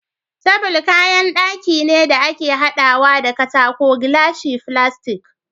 Table kayan daki ne da ake hadawa da katako ,glashi, filastic